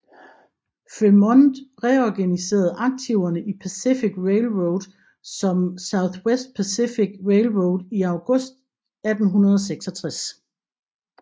Frémont reorganiserede aktiverne i Pacific Railroad som Southwest Pacific Railroad i august 1866